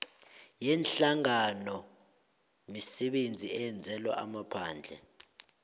yeenhlanganoimisebenzi eyenzelwa amaphandle